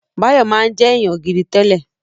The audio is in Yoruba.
Báyọ̀ máa ń jẹ́ èèyàn gidi tẹ́lẹ̀